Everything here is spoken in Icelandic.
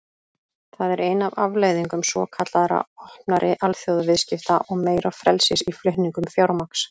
Það er ein af afleiðingum svokallaðra opnari alþjóðaviðskipta og meira frelsis í flutningum fjármagns.